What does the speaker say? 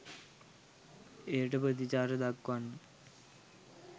එයට ප්‍රතිචාර දක්වන්න